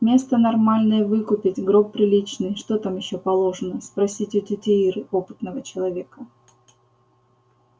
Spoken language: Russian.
место нормальное выкупить гроб приличный что там ещё положено спросить у тёти иры опытного человека